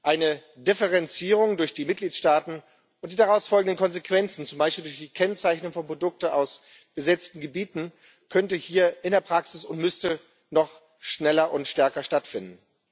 Eine Differenzierung durch die Mitgliedstaaten und die daraus folgenden Konsequenzen, zum Beispiel durch die Kennzeichnung von Produkten aus besetzten Gebieten, könnte hier in der Praxis und müsste noch schneller und stärker stattfinden.